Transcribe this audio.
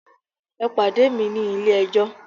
E pade mi ni Ile ejó!